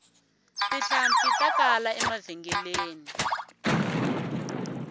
tihlampfi ta kala emavhengeleni